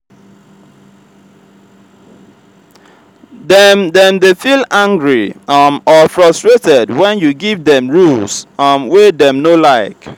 dem dem de feel angry um or frustrated when you give dem rules um wey dem no like